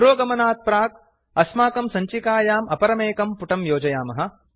पुरोगमनात् प्राक् अस्माकं सञ्चिकायाम् अपरमेकं पुटं योजयामः